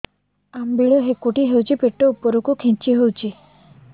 ଅମ୍ବିଳା ହେକୁଟୀ ହେଉଛି ପେଟ ଉପରକୁ ଖେଞ୍ଚି ହଉଚି